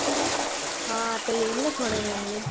हा आता येईल ना थोड्या वेळाने.